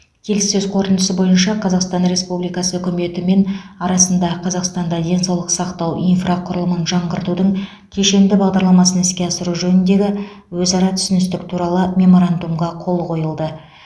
келіссөз қорытындысы бойынша қазақстан республикасы үкіметі мен арасында қазақстанда денсаулық сақтау инфрақұрылымын жаңғыртудың кешенді бағдарламасын іске асыру жөніндегі өзара түсіністік туралы меморандумға қол қойылды